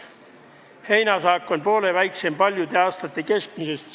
Heinasaak on poole väiksem paljude aastate keskmisest.